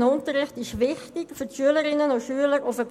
Berufsvorbereitender Unterricht ist für die Schülerinnen und Schüler wichtig, um sie auf